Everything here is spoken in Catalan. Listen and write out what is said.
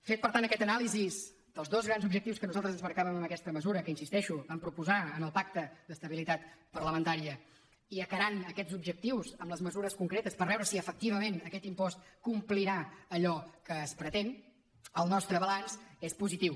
feta per tant aquesta anàlisi dels dos grans objectius que nosaltres ens marcàvem en aquesta mesura que hi insisteixo vam proposar en el pacte d’estabilitat parlamentària i acarant aquests objectius amb les mesures concretes per veure si efectivament aquest impost complirà allò que es pretén el nostre balanç és positiu